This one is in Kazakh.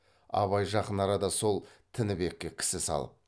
абай жақын арада сол тінібекке кісі салып